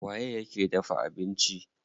Waye yake dafa abinci?